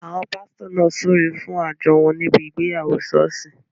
Àwọn pásítọ̀ náà súre fún àjọ wọn níbi ìgbéyàwó ṣọ́ọ̀ṣì